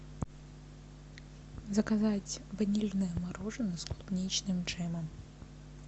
заказать ванильное мороженое с клубничным джемом